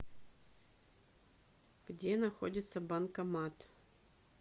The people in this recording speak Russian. где находится банкомат